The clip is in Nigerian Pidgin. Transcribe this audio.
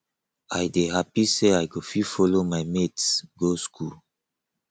i dey happy say i go fit follow my mates go school